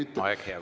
Aeg, hea kolleeg!